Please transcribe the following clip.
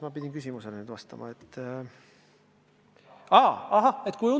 Aga mis küsimusele ma pidingi vastama?